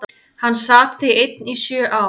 Hann sat því einn í sjö ár.